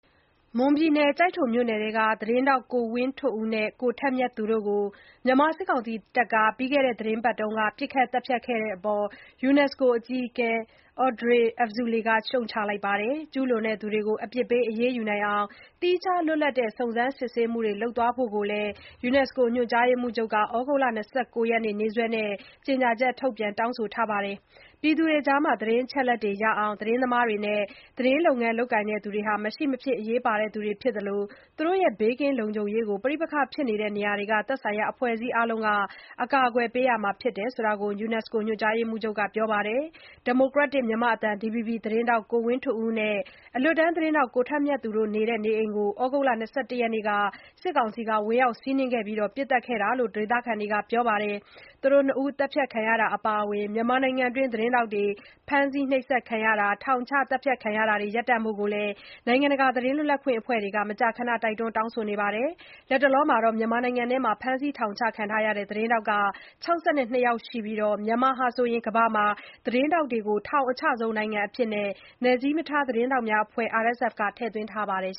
မွန်ပြည်နယ် ကျိုက်ထိုမြို့နယ်ထဲမှာ သတင်းထောက် ကိုဝင်းထွဋ်ဦးနဲ့ ကိုထက်မြတ်သူ တို့ကို မြန်မာစစ်တပ်က ပြီးခဲ့တဲ့ သီတင်းပတ်က ပစ်ခတ် သတ်ဖြတ်ခဲ့တဲ့အပေါ် UNESCO အကြီးအကဲ Audrey Azoulay က ရှုတ်ချလိုက်ပါတယ်။ ကျူးလွန်သူတွေကို အပြစ်ပေး အရေးယူနိုင်အောင် သီးခြားလွတ်လပ်တဲ့ စုံစမ်းစစ်ဆေးမှုတွေ လုပ်သွားဖို့လည်း UNESCO ညွှန်ကြားရေးမှူးချုပ် Azoulay က သြဂုတ်လ ၂၉ ရက်နေ့ နေ့စွဲနဲ့ ကြေညာချက် ထုတ်ပြန် တောင်းဆိုပါတယ်။ ပြည်သူတွေကြား သတင်း အချက်အလက်တွေ ရရှိအောင် သတင်းသမားတွေနဲ့ သတင်းလုပ်ငန်း လုပ်ကိုင်သူတွေဟာ မရှိမဖြစ် အရေးပါသူတွေ ဖြစ်သလို၊ သူတို့ရဲ့ ဘေးကင်းလုံခြုံရေးကို ပဋိပက္ခဖြစ်နေတဲ့ သက်ဆိုင်ရာ အဖွဲ့အစည်းအားလုံးက ကာကွယ်ပေးရမှာ ဖြစ်တယ်လို့ UNESCO ညွှန်ကြားရေးမှူးချုပ်က ပြောပါတယ်။ ဒီမိုကရက်တစ် မြန်မာ့အသံ DVB သတင်းထောက် ဝင်းထွဋ်ဦးနဲ့ အလွတ်သတင်းထောက်ကိုထက်မြတ်သူတို့နေထိုင်နေတဲ့ အိမ်ကို သြဂုတ်လ ၂၁ ရက်နေ့က စစ်တပ်က ဝင်ရောက် စီးနင်းခဲ့ပြီး ပစ်သတ်ခံရတာ ဖြစ်တယ်လို့ ဒေသခံတွေက ပြောထားကြပါတယ်။ သူတို့နှစ်ဦး သတ်ဖြတ်ခံရတာ အပါအဝင် မြန်မာနိုင်ငံတွင်း သတင်းထောက်တွေ ဖမ်းဆီး နှိပ်စက် ခံရတာ၊ ထောင်ချ၊ သတ်ဖြတ်ခံရတာတွေ ရပ်တန့်ဖို့ နိုင်ငံတကာ သတင်းလွတ်လပ်ခွင့် အဖွဲ့တွေကလည်း မကြာခဏ တိုက်တွန်း တောင်းဆိုနေကြတာပါ။ မြန်မာနိုင်ငံမှာ လက်ရှိ ဖမ်းဆီး ထောင်ချခံ ထားရတဲ့ သတင်းထောက် ၆၂ ယောက်ရှိပြီး မြန်မာဟာ ကမ္ဘာမှာ သတင်းထောက်တွေကို ထောင်အချဆုံး နိုင်ငံစာရင်းထဲမှာ နယ်စည်းမထား သတင်းများအဖွဲ့ RSF က ထည့်သွင်းထားပါတယ်